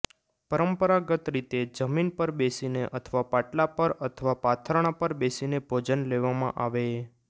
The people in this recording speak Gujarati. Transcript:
પરંપરાગત રીતે જમીન પર બેસીને અથવા પાટલા પર અથવા પાથરણા પર બેસીને ભોજન લેવામાં આવે